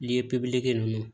Li pepiye ninnu